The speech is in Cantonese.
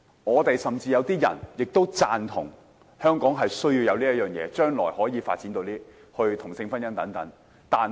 我們建制派有些議員甚至也贊同香港需要這樣做，在將來可以接受同性婚姻。